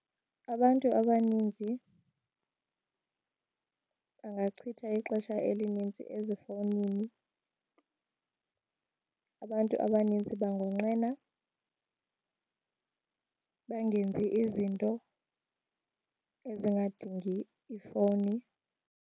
Abantu abaninzi bangachitha ixesha elinintsi ezifowunini. Abantu abaninzi bangonqena bangenzi izinto ezingadingi ifowuni.